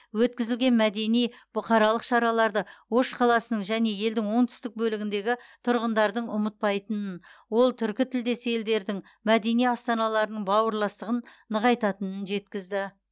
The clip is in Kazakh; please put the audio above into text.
өткізілген мәдени бұқаралық шараларды ош қаласының және елдің оңтүстік бөлігіндегі тұрғындардың ұмытпайтынын ол түркітілдес елдердің мәдени астаналарының бауырластығын нығайтатынын жеткізді